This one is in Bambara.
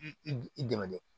I i i dɛmɛ dɛ